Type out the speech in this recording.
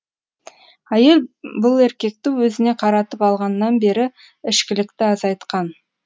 әйел бұл еркекті өзіне қаратып алғаннан бері ішкілікті азайтқан